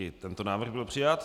I tento návrh byl přijat.